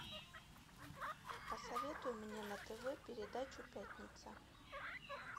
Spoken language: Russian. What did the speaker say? посоветуй мне на тв передачу пятница